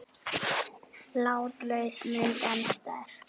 Látlaus mynd en sterk.